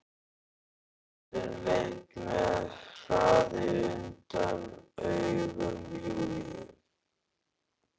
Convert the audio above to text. Og Þorsteinn leit með hraði undan augum Júlíu.